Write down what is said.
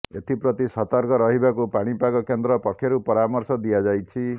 ଏଥିପ୍ରତି ସତର୍କ ରହିବାକୁ ପାଣିପାଗ କେନ୍ଦ୍ର ପକ୍ଷରୁ ପରାମର୍ଶ ଦିଆଯାଇଛି